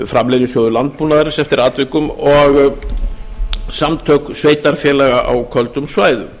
framleiðnisjóður landbúnaðarins eftir atvikum og samtök sveitarfélaga á köldum svæðum